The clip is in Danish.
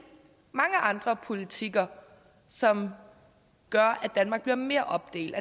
mange andre politikker som gør at danmark bliver mere opdelt